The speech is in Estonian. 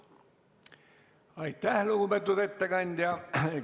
Aitäh, lugupeetud ettekandja!